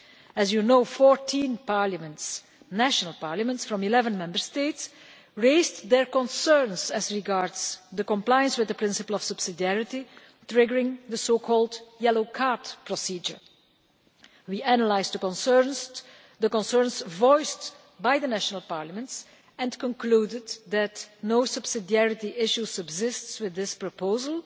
As you know, 14 national parliaments from 11 Member States raised concerns in relation to compliance with the principle of subsidiarity, triggering the so-called yellow card procedure. We analysed the concerns voiced by the national parliaments and concluded that no subsidiarity issue subsists with this proposal.